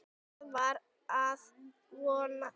Það var að vonum.